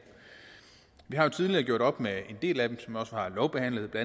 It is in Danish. vi har jo tidligere gjort op med en del af dem som vi også har lovbehandlet